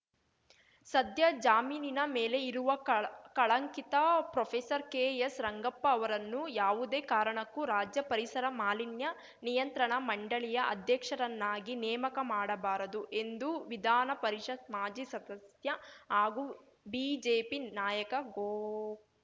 ಸದ್ಯ ಜಾಮೀನಿನ ಮೇಲೆ ಇರುವ ಕಳ ಕಳಂಕಿತ ಪ್ರೊಫೇಸರ್ಕೆಎಸ್‌ ರಂಗಪ್ಪ ಅವರನ್ನು ಯಾವುದೇ ಕಾರಣಕ್ಕೂ ರಾಜ್ಯ ಪರಿಸರ ಮಾಲಿನ್ಯ ನಿಯಂತ್ರಣ ಮಂಡಳಿಯ ಅಧ್ಯಕ್ಷರನ್ನಾಗಿ ನೇಮಕ ಮಾಡಬಾರದು ಎಂದು ವಿಧಾನಪರಿಷತ್‌ ಮಾಜಿ ಸದಸ್ಯ ಹಾಗೂ ಬಿಜೆಪಿ ನಾಯಕ ಗೋ